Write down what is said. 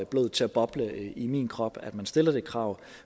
blodet til at boble i min krop at man stiller det krav